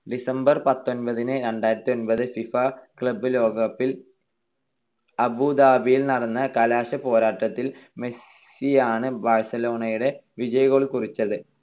December പത്തൊൻപത്തിന് രണ്ടായിരത്തിഒൻപത് FIFA club ലോകകപ്പിൽ അബുദാബിയിൽ നടന്ന കലാശപ്പോരാട്ടത്തിൽ മെസ്സിയാണ് ബാഴ്സലോണയുടെ വിജയ goal കുറിച്ചത്.